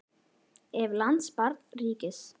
Ef. lands barns ríkis